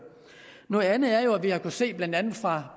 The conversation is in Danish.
noget andet er at vi har kunnet se blandt andet fra